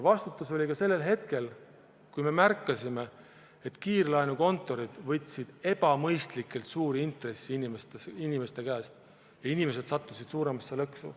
Vastutus oli ka sellel hetkel, kui me märkasime, et kiirlaenukontorid võtsid ebamõistlikult suuri intresse inimeste käest ja inimesed sattusid suuremasse lõksu.